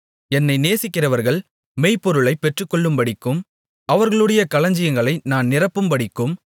என்னை நேசிக்கிறவர்கள் மெய்ப்பொருளை பெற்றுக்கொள்ளும்படிக்கும் அவர்களுடைய களஞ்சியங்களை நான் நிரப்பும்படிக்கும்